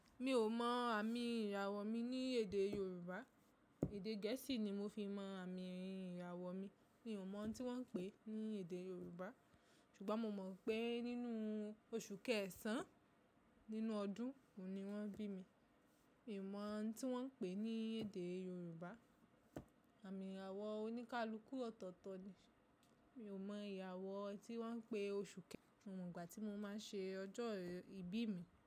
Mi ò mọ àmì ìràwọ̀ mi ní èdè Yorùbá. Èdè Gẹ̀ẹ́sì ni mo fi mọ àmì ìràwọ̀ mi. Mi ò mọ tí wọ́n ń pè é ní èdè Yorùbá. Ṣùgbọ́n mo mọ̀ pé nínú oṣù kẹ́ẹ̀sán nínú ọdún òní wọ́n bí mi. Mi ò mọ ohun tí wọ́n ń pè é ní èdè Yorùbá. Àmì ìràwọ̀ oníkálukú ọ̀tọ̀ọ̀tọ̀ ni. Mi ò mọ ìràwọ̀ tí wọ́n ń pè oṣù kẹ mio mo ígbà tí mo máa ń ṣe ọjọ́ ìbí mi.